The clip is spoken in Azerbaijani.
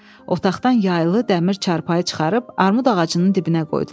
Otaqdan yayılı dəmir çarpayı çıxarıb armud ağacının dibinə qoydular.